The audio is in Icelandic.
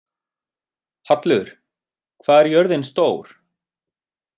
Hallur, hvað er jörðin stór?